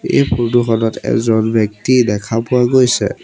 এই ফৰ্টো খনত এজন ব্যক্তি দেখা পোৱা গৈছে।